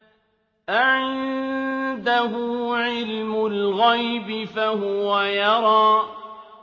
أَعِندَهُ عِلْمُ الْغَيْبِ فَهُوَ يَرَىٰ